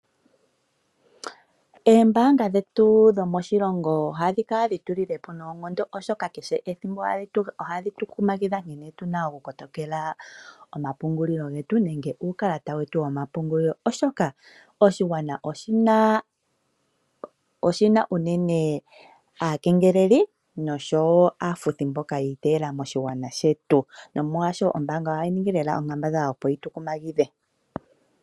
Oombaanga dhetu dhomoshilongo ohadhi kala dhi tu lile po noonkondo, oshoka kehe ethimbo ohadhi tu kumagidha nkene tu na okukotokela omapungulilo getu nenge uukalata wetu womapungulilo, oshoka oshigwana oshi na unene aakengeleli nosho wo aafuthi mboka yi iteyela moshilongo shetu. Nomolwashoka, ombaanga ohayi ningi onkambadhala, opo yi tu kumagidhe.